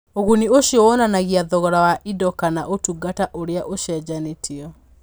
Ũguni ũcio wonanagia thogora wa indo kana ũtungata ũrĩa ũcenjanĩtio.